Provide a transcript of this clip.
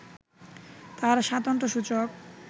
তার স্বাতন্ত্র্যসূচক